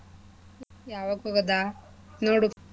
ಯಾವತ್ ಹೋಗದ ನೋಡು.